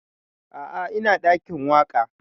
A'a ina ɗakin waƙa